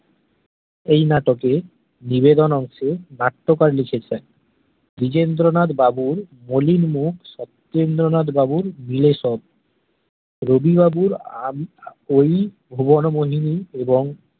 এই নাটক এ নিবেদন অংশে নাট্যকার লিখেছে দ্বিজেন্দ্রনাথ বাবুর মলিন মুখ সতেন্দ্রনাথ বাবুর বিলেসর রবি বাবুর আহ ওই ভুবন মোহিনী এবং